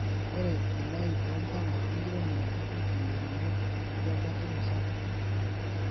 Ore elaii oo mpala enkiremore kepik ilairemok atua batisho sapuk.